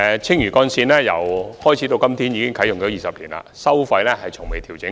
青嶼幹線啟用至今已20年，其收費不曾調整。